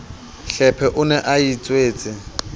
hlephe o ne a itswetse